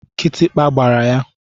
Kịtịkpa gbara ya.